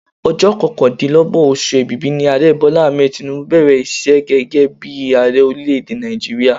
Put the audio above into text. Ọjọ́ kọkàndínlọ́gbọ̀n oṣù èbìbí ni Ààrẹ Bola Ahmed Tinubu bẹ̀rẹ̀ iṣẹ́ gẹ́gẹ́ bí i Ààrẹ Orílé-èdè Nàìjíríà